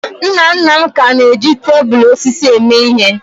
Nna nna m ka na-eji tebụl osisi eme ihe.